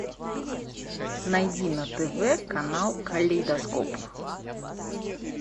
найди на тв канал калейдоскоп